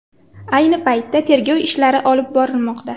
Ayni paytda tergov ishlari olib borilmoqda.